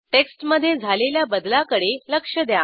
टेक्स्टमधे झालेल्या बदलाकडे लक्ष द्या